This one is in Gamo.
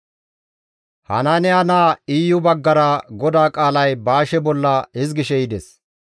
Hanaaniya naa Iyu baggara GODAA qaalay Baashe bolla hizgishe yides;